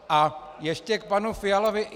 A ještě k panu Fialovi.